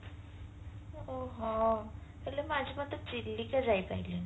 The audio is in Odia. ଓହୋ ହେଲେ ମୁଁ ଆଜି ପର୍ଯ୍ୟନ୍ତ ଚିଲିକା ଯାଇ ପାରିଲିନି